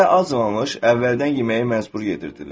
Hələ acmamış, əvvəldən yeməyi məcbur yedirdilib.